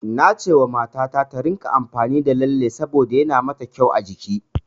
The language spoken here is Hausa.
Nacewa mata ta, ta ringa amfani da lalle saboda yana ma ta kyau a jiki.